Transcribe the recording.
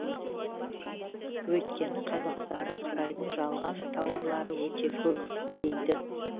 өйткені қазақстанда қытайдың жалған тауарлары өте көп дейді